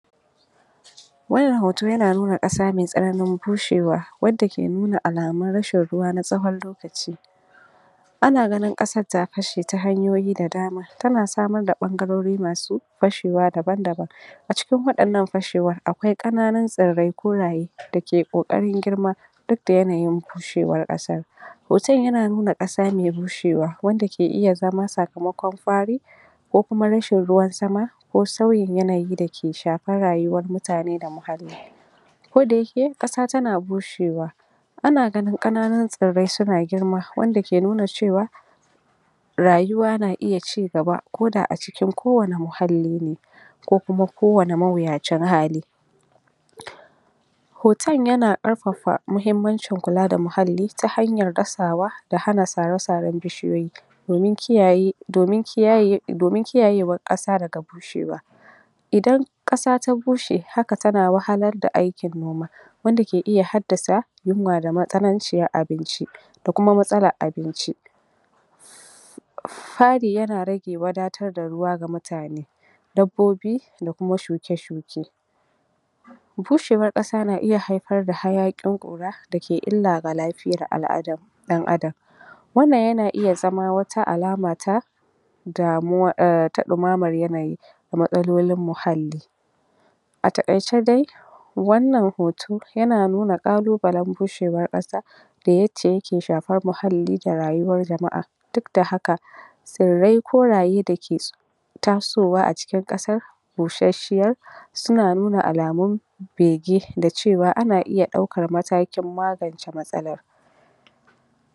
wannan hoto yana nuna ƙasa me tsananin bushewa wadda ke nuna alamun rashin ruwa na tsawon lokaci ana ganin ƙasar ta fashe ta hanyoyi da dama tana samar da ɓangarorin ma su fashewa daban-daban a cikin waɗannan fashewar akwai ƙananun tsirrai koraye da ke koƙarin girma duk da yanayin bushewar ƙasar hoto yana nuna ƙasa me bushewa wanda ke iya zama sakamakon fari ko kuma rashin ruwan sama ko sauyin yanayi dake shafan rayuwar mutane da muhalli ko da yake, ƙasa tana bushewa ana ganin ƙananun tsirrai suna girma wanda ke nuna cewa rayuwa na iya cigaba ko da a cikin kowane muhalli ne ko kuma kowane mawuyacin hali hoton yana ƙarfafa muhimmancin kula da muhalli ta hanyar dasawa da hana sare-saren bishiyoyi domin kiyaye domin kiyayewar ƙasa daga bushewa idan ƙasa ta bushe haka tana wahalar da aikin noma wanda ke iya haddasa yunwa da matsananci na abinci da kuma matsalar abinci fari yana rage wadatar da ruwa ga mutane dabbobi da kuma shuke-shuke bushewar ƙasa na iya haifar da hayaƙin ƙura da ke illa ga lafiyar al'adam ɗan Adam wannan yana iya zama wata alama ta ta ɗumamar yanayi da matsalolin muhalli a taƙaice dai wannan hoto yana nuna ƙalubalen bushewar ƙasa da yadda yake shafar muhalli da rayuwar jama'a duk da haka tsirrai koraye dake tasowa a cikin ƙasa bushashshiya suna nuna alamun bege da cewa ana iya ɗaukar matakin magance matsalar